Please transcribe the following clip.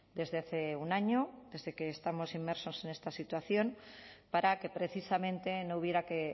desde hace un año desde que estamos inmersos en esta situación para que precisamente no hubiera que